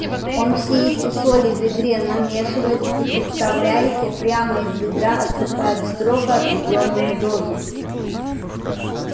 он все эти соли в ведре намешивает и представляете прямо из ведра отсыпает строго отведённую дозу